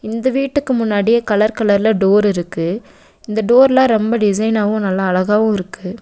இந்த வீட்டுக்கு முன்னாடியே கலர் கலர்ல டோர் இருக்கு இந்த டோர்லா ரொம்ப டிசைனாவு நல்லா அழகாவு இருக்கு.